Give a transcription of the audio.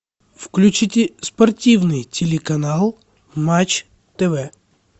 включите спортивный телеканал матч тв